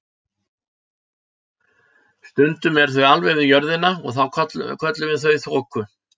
Stundum eru þau alveg við jörðina og þá köllum við þau þoku.